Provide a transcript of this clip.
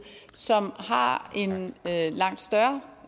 som har en langt større